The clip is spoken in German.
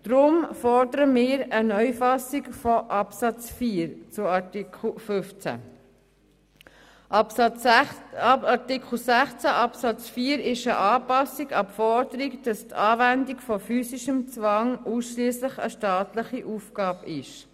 Darum fordern wir eine Neufassung von Absatz 4 des Artikels 15. Artikel 16 Absatz 4 ist eine Anpassung an die Forderung, dass die Anwendung von physischem Zwang ausschliesslich eine staatliche Aufgabe ist.